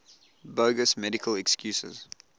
bogus medical excuses